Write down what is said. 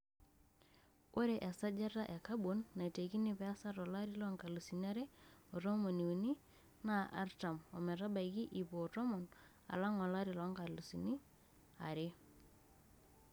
Ore esajata e kabon naitekini peesa tolari loonkalusi are o tomoniuni naa artam ometabaiki iip o tomon alang olari loonkalusini are.